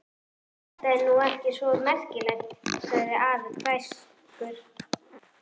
Þetta er nú ekki svo merkilegt! sagði afi hæverskur.